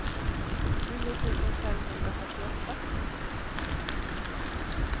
nio tusen femhundrafyrtioåtta